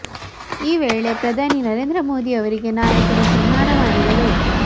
ಈ ವೇಳೆ ಪ್ರಧಾನಿ ನರೇಂದ್ರ ಮೋದಿ ಅವರಿಗೆ ನಾಯಕರು ಸನ್ಮಾನ ಮಾಡಿದರು